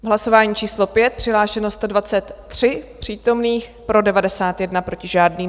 V hlasování číslo 5 přihlášeno 123 přítomných, pro 91, proti žádný.